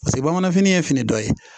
Paseke bamanan fini ye fini dɔ ye